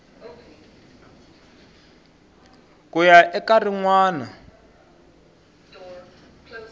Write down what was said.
ku ya eka rin wana